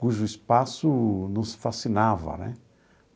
Cujo espaço nos fascinava, né?